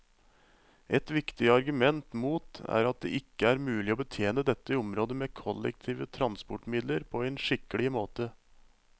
Et viktig argument mot er at det ikke er mulig å betjene dette området med kollektive transportmidler på en skikkelig måte.